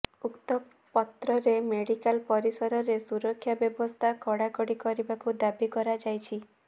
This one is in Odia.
ଉକ୍ତ ପତ୍ରରେ ମେଡିକାଲ ପରିସରରେ ସୁରକ୍ଷା ବ୍ୟବସ୍ଥା କଡାକଡି କରିବାକୁ ଦାବି କରାଯାଇଛି